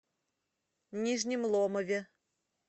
нижнем ломове